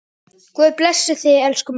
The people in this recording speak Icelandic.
Guð blessi þig, elsku mamma.